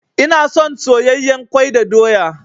Ina son soyayyen kwai da doya.